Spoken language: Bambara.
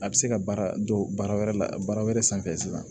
A bɛ se ka baara dɔ baara wɛrɛ la baara wɛrɛ sanfɛ sisan